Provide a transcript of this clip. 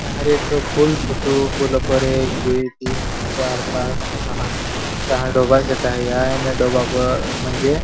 हरे तो फुल छे तो दो फुल पर एक दुई तीन चार पाँच छहा डोबा डोबा प मंजे --